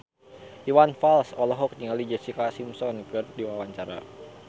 Iwan Fals olohok ningali Jessica Simpson keur diwawancara